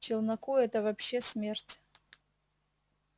челноку это вообще смерть